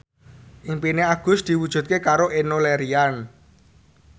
impine Agus diwujudke karo Enno Lerian